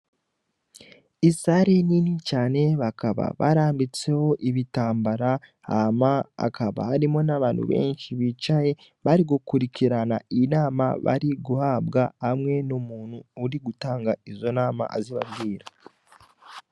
Isare ni nti cane bakaba barambitseho ibitambara hama akaba harimo n'abantu benshi bicaye bari gukurikirana inama bari guhabwa amwe n'muntu uri gutanga izo nama azibabwira.